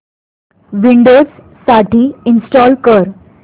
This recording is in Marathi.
विंडोझ साठी इंस्टॉल कर